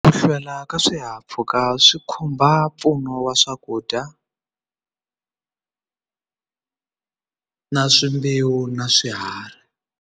Ku hlwela ka swihahampfhuka swi khumba mpfuno wa swakudya na swi mbewu na swiharhi.